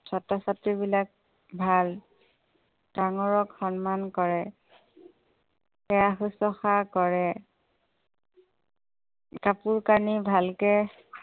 ছাত্ৰ-ছাত্ৰীবিলাক ভাল। ডাঙৰক সন্মান কৰে। সেৱা শুশ্ৰুষা কৰে। কাপোৰ কানি ভালকে